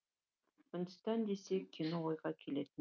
үндістан десек кино ойға келетіні рас